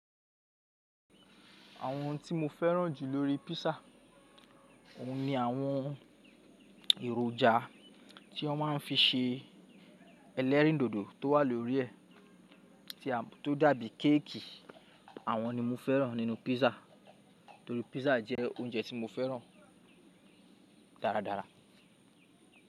Àwọn tí mo fẹ́ràn jù lórí písà, òun ni àwọn èròjà tí wọ́n má ń fi se ẹlẹ́rìn dodo tó wà lórí ẹ̀ tí a tó dàbí kéèkì àwọn ni mo fẹ́ràn nínú písà torí písà jẹ́ oúnjẹ tí mo fẹ́ràn dáradára.